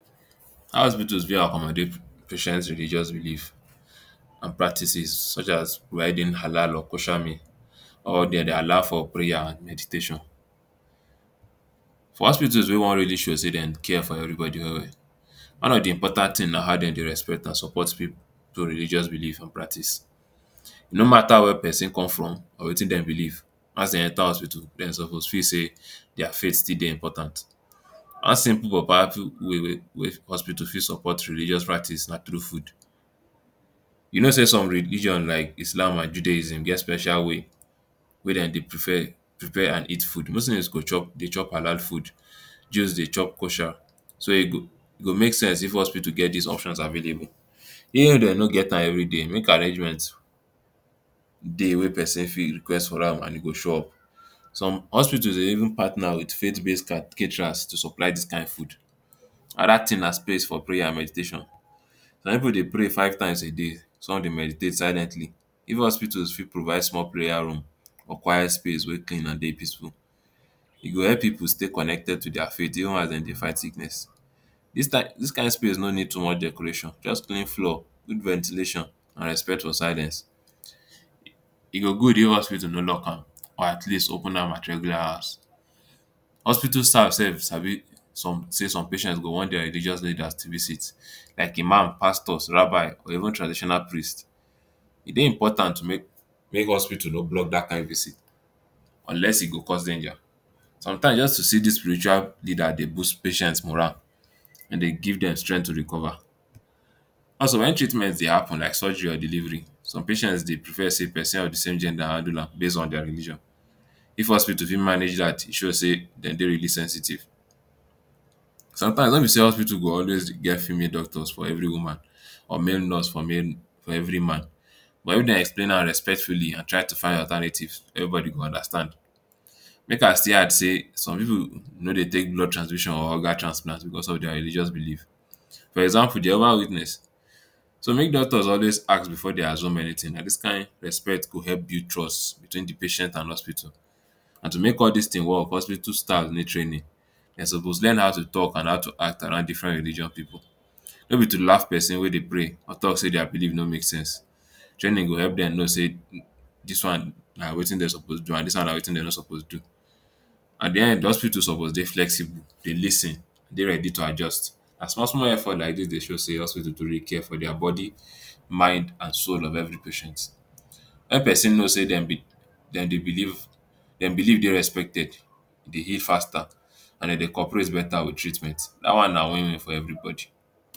How hospitals fit accommodate hospital patient religious beliefs and practices, such as or dem dey allow for prayers and meditation. For hospitals wey wan really show sey dem care for everybody well well. one of dey important things na how dem dey respect and support pipu religious belief and practice. no mata where person come from or wey thing dem believe, as dey enter hospital dem suppose feel sey their faith still dey important. one simple powerful wey hospital fit support religious practice na through food. You no sey some religion like islam and Judaism get special way ,wey dem dey prefer, prepare and eat food. Muslim go dey chop food Jews dey chop so e go make sense if hospital get dis options available even if dem no get am everyday de make arrangement dey wey person fit request for am and e go show up. some hospitals dey even partner with faith base caterers to supply dis kind food another thing na space for prayer and meditation, some people dey pray five times a day and some dey meditate silently even hospitals fit provide small prayer room or quiet space wey dey clean and peaceful e go help people stay connected to their faith even as dem dey fight sickness. Dis kind of space no need too much decoration just clean floor, good ventilation and respect for silence e go good if hospital no lock am at least open am at regular hours. hospital staffs sef sabi sey some patient go wan their religious leaders make to visit like Imam, pastors, rabbai even traditional priests e dey important may hospital no block dat kind visit unless e go cost dem their, sometimes just to see dis spiritual leader dey boost patient moral and dey give dem strength to recover. Also when treatment dey happen like surgery or delivery some patients dey prefer sey person of same gender handle am base on their religion if hospital fit manage dat e show sey dem dey really sensitive. sometimes no be say hospital go always dey get female doctor for every woman or male nurse for every man but if dem explain am respectfully and try to find alternative every body go understand make I still add sey some pipu no dey take blood transfusion or organ transplant because of their religious believe for example Jehovah witness so make doctors always ask before dem assume anything nah kind respect go help build trust between dey patient and hospital and to make all dis thing work hospital staffs need training dem suppose how to talk and how to act around different religious pipu. no be to laugh person wey dey pray or talk sey their believe no make sense, training go help dem no say dis um one na wey thing dem suppose do and wey thing dem no suppose do, at de end hospital suppose dey flexible dey lis ten dey ready to adjust, na small small effort like dis dey show sey hospital dey truly care for their body, mind and soul of every patient. Make person no sey dem believe dey respected e dey heal faster and dem dey cooperate better with treatment dat one na win win for everybody.